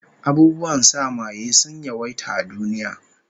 Abubuwan sa maye sun yawaita a duniya